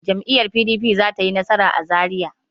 Jam'iyyar PDP za ta yi nasara a Zariya.